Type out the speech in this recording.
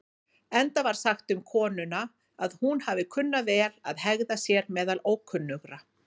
Enda var sagt um konuna að hún hafi kunnað vel að hegða sér meðal ókunnugra.